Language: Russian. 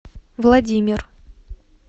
владимир